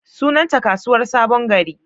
Sunanta Kasuwar sabon gari.